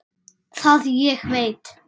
Það ég veit.